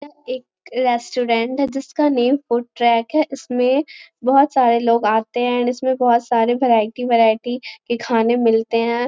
यह एक रेस्टोरेंट है। जिसका नेम फूड ट्रैक है। उसमें बोहोत सारे लोग आते हैं एंड इसमें बोहोत सारे वैरायटी वैरायटी के खाने मिलते है।